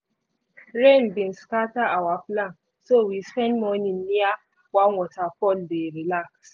rain bin scatter our plan so we spend morning near one waterfall dey relax.